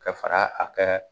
Ka fara a kɛ